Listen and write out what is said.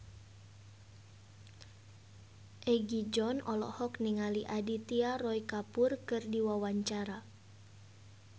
Egi John olohok ningali Aditya Roy Kapoor keur diwawancara